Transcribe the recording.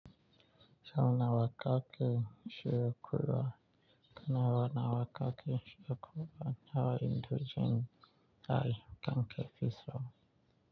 Sau nawa kake shiyokuwa kanawa na wakake shiyokuwa nawa indogen dai kanke fitaso.